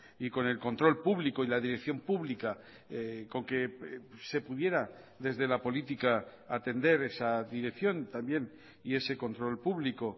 y con el control público y la dirección pública con que se pudiera desde la política atender esa dirección también y ese control público